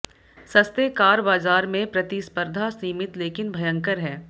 सस्ते कार बाजार में प्रतिस्पर्धा सीमित लेकिन भयंकर है